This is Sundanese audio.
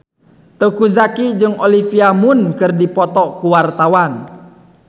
Teuku Zacky jeung Olivia Munn keur dipoto ku wartawan